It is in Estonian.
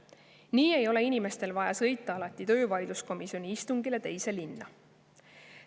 Nii ei ole inimestel vaja alati sõita töövaidluskomisjoni istungile teise linna.